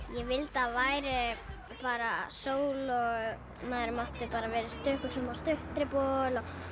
ég vildi að væri bara sól og maður mætti vera í stuttbuxum og stuttermabol og